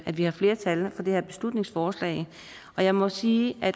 at vi har flertal for det her beslutningsforslag og jeg må sige at